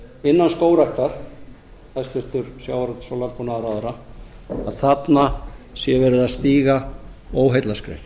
innan skógræktar hæstvirtum sjávarútvegs og landbúnaðarráðherra að þarna sé verið að stíga óheillaskref